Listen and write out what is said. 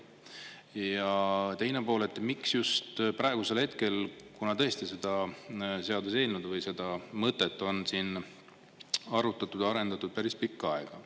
Ja teine pool, miks just praegusel hetkel, kuna tõesti seda seaduseelnõu või seda mõtet on siin arutatud ja arendatud päris pikka aega.